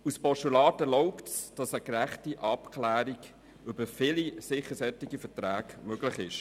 Das Postulat erlaubt es, eine gerechte Abklärung vieler solcher Verträge zu ermöglichen.